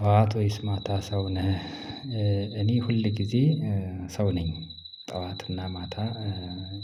ጠዋት ሆይስ ማታ ሰው ነህ እኔ ሁል ጊዜ ሰው ነኝ ጠዋትና ማታ